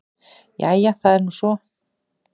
Jæja það er nú svo.